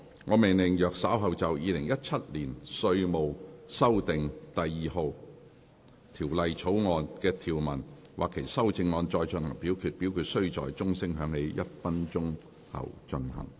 我命令若稍後就《2017年稅務條例草案》所提出的議案或修正案再進行點名表決，表決須在鐘聲響起1分鐘後進行。